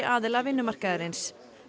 aðila vinnumarkaðarins